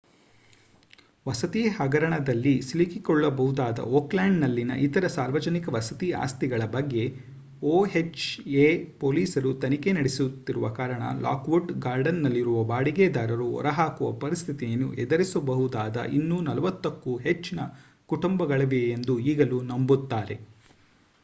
ವಸತಿ ಹಗರಣದಲ್ಲಿ ಸಿಲುಕಿಕೊಳ್ಳಬಹುದಾದ ಓಕ್ಲ್ಯಾಂಡ್‌ನಲ್ಲಿನ ಇತರ ಸಾರ್ವಜನಿಕ ವಸತಿ ಆಸ್ತಿಗಳ ಬಗ್ಗೆ ಒಎಚ್‌ಎ ಪೊಲೀಸರು ತನಿಖೆ ನಡೆಸುತ್ತಿರುವ ಕಾರಣ ಲಾಕ್ವುಡ್ ಗಾರ್ಡನ್‌ನಲ್ಲಿರುವ ಬಾಡಿಗೆದಾರರು ಹೊರಹಾಕುವ ಪರಿಸ್ಥಿತಿಯನ್ನು ಎದುರಿಸಬಹುದಾದ ಇನ್ನೂ 40 ಕ್ಕೂ ಹೆಚ್ಚಿನ ಕುಟುಂಬಗಳಿವೆಯೆಂದು ಈಗಲೂ ನಂಬುತ್ತಾರೆ